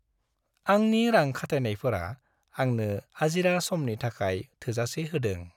आंनि रां खाथायनायफोरा आंनो आजिरा समनि थाखाय थोजासे होदों।